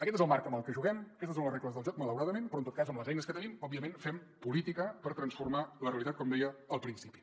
aquest és el marc en el que juguem aquestes són les regles del joc malauradament però en tot cas amb les eines que tenim òbviament fem política per transformar la realitat com deia al principi